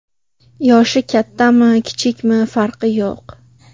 Yoshi kattami, kichikmi farqi yo‘q.